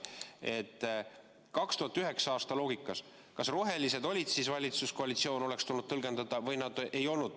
Mu küsimus on selles: kas 2009. aastal selle loogika järgi rohelised olid valitsuskoalitsioon – kas oleks tulnud nii tõlgendada – või ei olnud?